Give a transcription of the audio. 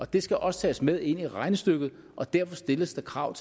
det skal også tages med ind i regnestykket og derfor stilles der krav